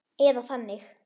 Eða þannig!